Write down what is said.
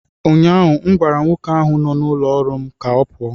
Ụnyahụ m gwara nwoke ahụ nọ n'ụlọ ọrụ m ka ọ pụọ!